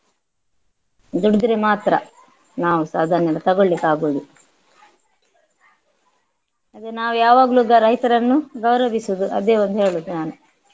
ದುಡ್ದ್ರೆ ಮಾತ್ರ ನಾವುಸ ಅದನ್ನೆಲ್ಲ ತೋಗೊಳ್ಳಿಕ್ಕಾಗುವುದು ಅದು ನಾವು ಯಾವಾಗಲು ಗ~ ರೈತರನ್ನು ಗೌರವಿಸುವುದು ಅದೇ ಒಂದು ಹೇಳುದು ನಾನು.